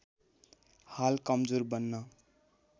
हाल कमजोर बन्न